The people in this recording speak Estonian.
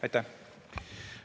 Aitäh!